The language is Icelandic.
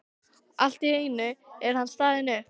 Allt í einu er hann staðinn upp.